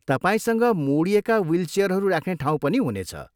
तपाईँसँग मोडिएका विल चियरहरू राख्ने ठाउँ पनि हुनेछ।